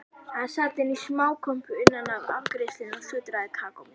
Hann sat inní smákompu innaf afgreiðslunni og sötraði kakómjólk.